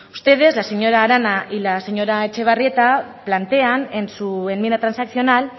ustedes la señora arana y la señora etxebarrieta plantean en su enmienda transaccional